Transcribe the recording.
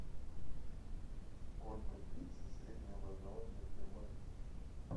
сколько длится среднее образование в германии